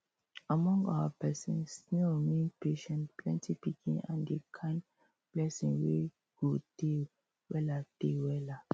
among our person snail mean patience plenty pikin and the kind blessing wey go tey weller tey weller